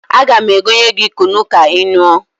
Aga m egonye gị kunu ka ị ṅụọ.